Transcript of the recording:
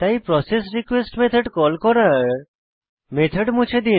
process request method call করার method মুছে দিন